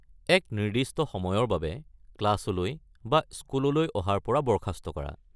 এক নিৰ্দিষ্ট সময়ৰ বাবে ক্লাছলৈ বা স্কুললৈ অহাৰ পৰা বৰ্খাস্ত কৰা।